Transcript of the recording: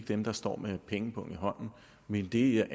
dem der står med pengepungen i hånden men det